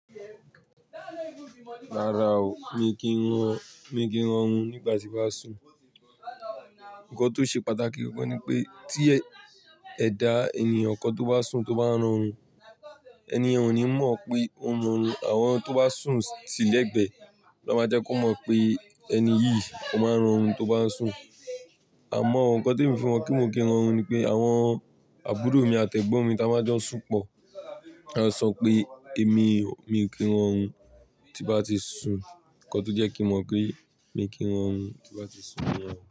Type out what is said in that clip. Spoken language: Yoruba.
Rárá o, mi kì í rọrùn, mi kì í rọrùn nígbà tí bàá sùn. Ǹkan tó ṣe pàtàkì gan gan ni pé tí ẹ dá ènìyàn kọ tó bá sùn tó bá ń rọrùn, ènìyen ò ní mọ̀ pé ó ń rọrùn. Àwọn tó bá sùn tile gbẹ lọ máa jẹ́ kó mọ̀ pé ẹni yìí ò maa ń rọrùn tó bá ń sùn. Àmọ́ o ǹkan tí emi fi mo pe kí ń rọrùn ni pé àwọn àbúrò mi àtẹgbon mi táa máa jo n sùn pọ̀. Wọn á sọ pé èmi, mi ò kí ń rọrùn tí bá ti sùn. Ǹkọ́ tó jẹ́ kí mò pé mi kì í rọrùn tí bá ti sùn niyen.